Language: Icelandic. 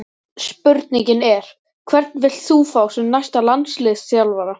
Spurningin er: Hvern vilt þú fá sem næsta landsliðsþjálfara?